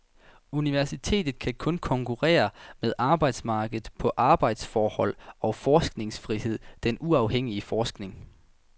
Universitetet kan kun konkurrere med arbejdsmarkedet på arbejdsforhold og forskningsfrihed, den uafhængige forskning.